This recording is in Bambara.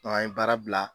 an ye baara bila